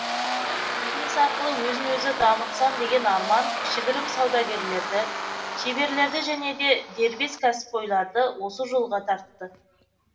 бизнес арқылы өзін өзі дамытсам деген арман кішігірім саудагерлерді шеберлерді және де дербес кәсіпқойларды осы жолға тартты